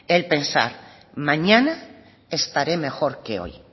el pensar mañana estaré mejor que hoy